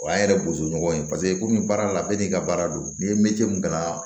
O y'an yɛrɛ bozo ɲɔgɔn ye paseke komi baara la bɛɛ n'i ka baara don n'i ye min ka na